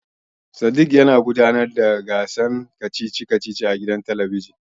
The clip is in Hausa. Sadik yana gudanar da shirin kacici kacici a gidan talabijin.